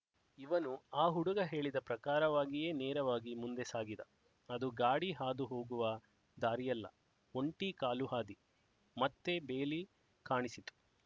ಇವನು ಆ ಹುಡುಗ ಹೇಳಿದ ಪ್ರಕಾರವಾಗಿಯೇ ನೇರವಾಗಿ ಮುಂದೆ ಸಾಗಿದ ಅದು ಗಾಡಿ ಹಾದು ಹೋಗುವ ದಾರಿಯಲ್ಲ ಒಂಟಿ ಕಾಲುಹಾದಿ ಮತ್ತೆ ಬೇಲಿ ಕಾಣಿಸಿತು